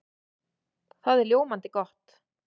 Það er ljómandi gott!